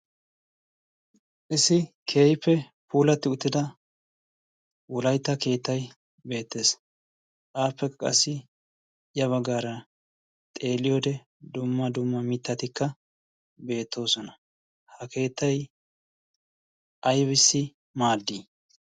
qissi kehife puulatti uttida wulaitta keettai beettees aappekka qassi ya baggaara xeeliyoode dumma dumma mittatikka beettoosona. ha keettai ibissi maaddii?